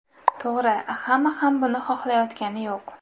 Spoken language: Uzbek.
To‘g‘ri, hamma ham buni xohlayotgani yo‘q.